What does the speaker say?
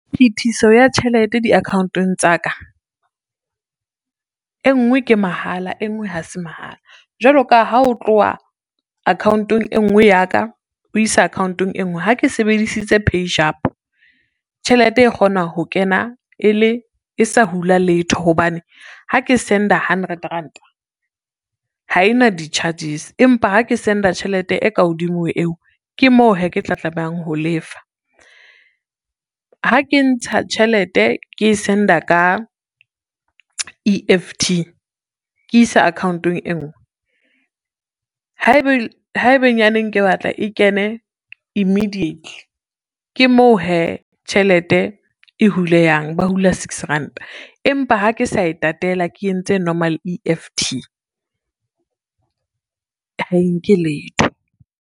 Phethiso ya tjhelete di-account-ong tsa ka, e ngwe ke mahala, e ngwe ha se mahala. Jwalo ka ha o tlowa akhaonteng e ngwe ya ka o isa akhaonteng e ngwe, ha ke sebedisitse tjhelete e kgona ho kena e sa hula letho hobane ha ke send-a hundred ranta ha e na di-charges, empa ha ke send-a tjhelete e ka hodimo ho eo ke moo hee ke tla tlamehang ho lefa. Ha ke ntsha tjhelete ke e send-a cash ka E_F_T ke isa account-ong e ngwe, haebenyaneng ke batla e kene immediately, ke moo hee tjhelete e huleyang ba hula six ranta, empa ha ke sa e tatela ke entse nomal E_F_T ha e nke letho.